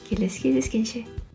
келесі кездескенше